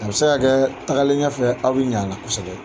A bɛ se ka kɛ, tagalen ɲɛfɛ , aw bɛ ɲɛ a la kosɛbɛ.